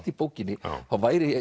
í bókinni þá væri